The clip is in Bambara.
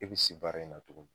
I bi se baara in na tuguni